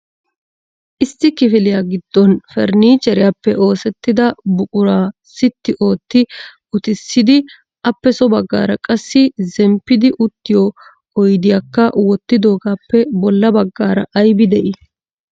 Issi kifiliya giddon farannicheriyaappe oosetida buquraa sitti ootti uttisidi appe so baggara qassi zemppidi uttiyo oyddiyakka wottidoogappe bolla baggaara aybbi de'ii?